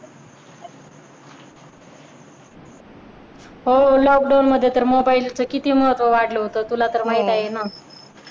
हो lockdown मध्ये तर किती मोबाईलच महत्व वाढले होत. तुला तर माहित आहे ना.